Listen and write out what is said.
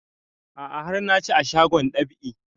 A'a har na ci a shagon dab'i